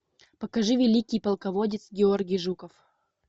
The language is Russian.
покажи великий полководец георгий жуков